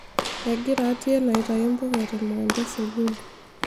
egira Atieno aitayu mbuka temukunta e sukuul